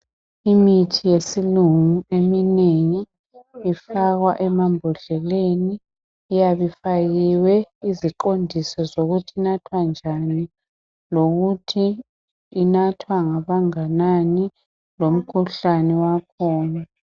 Imithi yesilungu eminengi ifakwa emambodleleni, iyabe ifakiwe iziqondiso zokuthi inathwa njani lokuthi inathwa ngabanganani, lomkhuhlane wakhona.